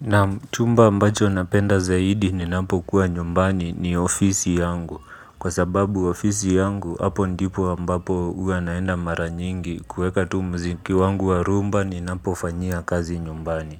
Nam chumba ambacho napenda zaidi ninapo kuwa nyumbani ni ofisi yangu. Kwa sababu ofisi yangu hapo ndipu ambapo uwa naenda mara nyingi kweka tu mziki wangu wa rumba ninapo fanyia kazi nyumbani.